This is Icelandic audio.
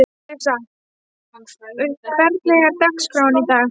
Arisa, hvernig er dagskráin í dag?